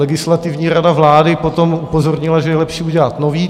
Legislativní rada vlády potom upozornila, že je lepší udělat nový.